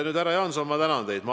Nüüd, härra Jaanson, ma tänan teid!